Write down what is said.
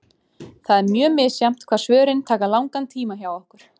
Það er mjög misjafnt hvað svörin taka langan tíma hjá okkur.